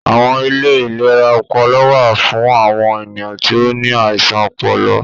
Awọn ilé ìlera ọpọlọ wà fún awọn ènìyàn tí o ní àisàn ọpọlọ